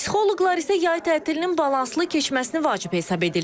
Psixoloqlar isə yay tətilinin balanslı keçməsini vacib hesab edirlər.